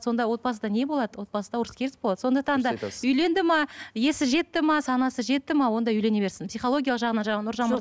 сонда отбасыда не болады отбасыда ұрыс керіс болады сондықтан да үйленді ме есі жетті ме санасы жетті ме онда үйлене берсін психологиялық жағынан жаңа нұржан